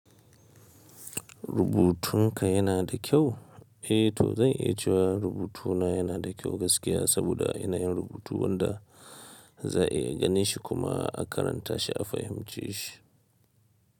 Rubutun ka yana da kyau? Eh to zan iya cewa rubutuna yana da kyau gaskiya saboda ina yin rubutu wanda za a iya ganin shi kuma a karanta shi a fahimce shi.